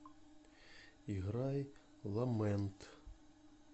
играй ламент